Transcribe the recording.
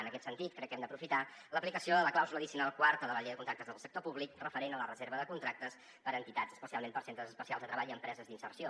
en aquest sentit crec que hem d’aprofitar l’aplicació de la clàusula addicional quarta de la llei de contractes del sector públic referent a la reserva de contractes per a entitats especialment per a centres especials de treball i empreses d’inserció